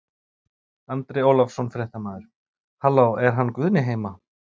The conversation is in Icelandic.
Andri Ólafsson, fréttamaður: Halló er hann Guðni heima?